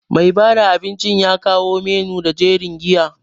Mai bada abinci ya kawo menu da jerin giya.